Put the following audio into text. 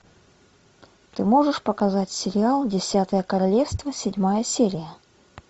ты можешь показать сериал десятое королевство седьмая серия